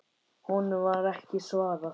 Honum var ekki svarað.